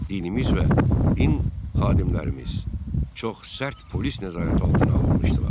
Dinimiz və din xadimlərimiz çox sərt polis nəzarəti altına alınmışdılar.